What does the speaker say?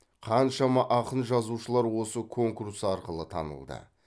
қаншама ақын жазушылар осы конкурс арқылы танылды